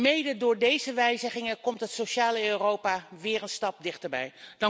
Mede door deze wijzigingen komt het sociale Europa weer een stap dichterbij.